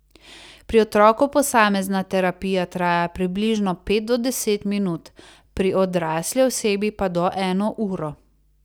Pri otroku posamezna terapija traja približno pet do deset minut, pri odrasli osebi pa do eno uro.